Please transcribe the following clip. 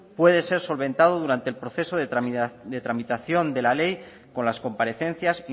puede ser solventado durante el proceso de tramitación de la ley con las comparecencias